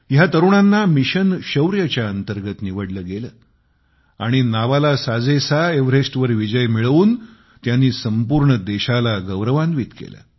या तरुणांना मिशन शौर्यच्या अंतर्गत निवडले गेले आणि नावाला साजेसा एव्हरेस्टवर विजय मिळवून त्यांनी संपूर्ण देशाला गौरवान्वित केले